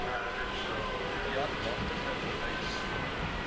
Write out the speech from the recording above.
deat magtiging vereis